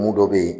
Mun dɔ bɛ yen